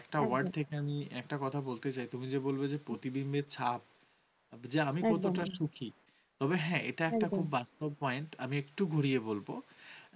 বাস্তব point । আমি একটু ঘুরিয়ে বলব